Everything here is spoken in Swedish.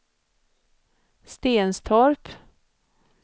Stenstorp